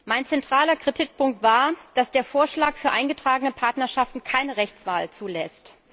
Mein zentraler Kritikpunkt war, dass der Vorschlag für eingetragene Partnerschaften keine Rechtswahl zulässt.